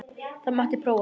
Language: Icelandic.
Það mátti prófa það.